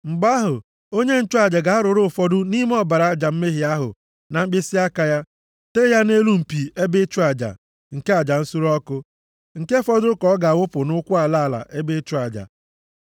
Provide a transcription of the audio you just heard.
Mgbe ahụ, onye nchụaja ga-arụrụ ụfọdụ nʼime ọbara aja mmehie ahụ na mkpịsịaka ya tee ya nʼelu mpi ebe ịchụ aja nke aja nsure ọkụ. + 4:25 \+xt Lev 9:9\+xt* Nke fọdụrụ ka ọ ga-awụpụ nʼụkwụ ala ala ebe ịchụ aja.